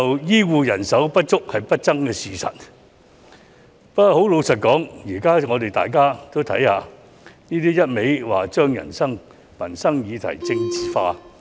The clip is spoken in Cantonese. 醫護人手不足是不爭的事實，但老實說，現在大家都看到，他只是不斷把民生問題政治化。